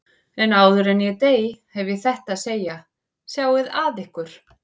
En áður en ég dey hef ég þetta að segja: Sjáið að ykkur.